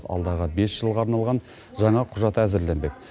алдағы бес жылға арналған жаңа құжат әзірленбек